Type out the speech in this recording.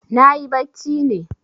Nayi bacci ne.